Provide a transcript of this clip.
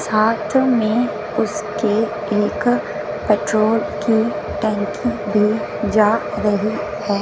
साथ में उसके एक पेट्रोल की टंकी भी जा रही है।